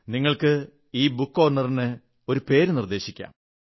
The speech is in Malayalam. നിങ്ങൾക്ക് ഈ ബുക്ക്് കോർണറിന് ഒരു പേരു നിർദ്ദേശിക്കാം